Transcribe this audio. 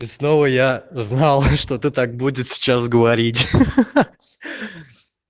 и снова я знал что ты так будет сейчас говорить